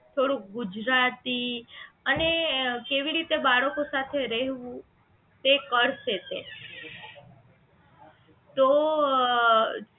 થોડુંક ગુજરાતી અને કેવી રીતે બાળકો સાથે રહેવું તે કરશે તે તો અ